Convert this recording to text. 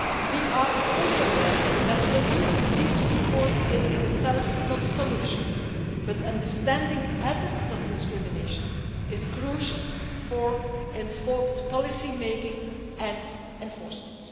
We are fully aware that producing these reports is in itself not a solution, but understanding patterns of discrimination is crucial for informed policy making and enforcement.